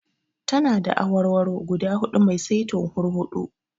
Tana da awarwaro guda huɗu mai saitin hurhuɗu.